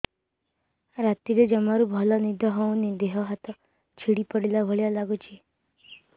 ରାତିରେ ଜମାରୁ ଭଲ ନିଦ ହଉନି ଦେହ ହାତ ଛିଡି ପଡିଲା ଭଳିଆ ଲାଗୁଚି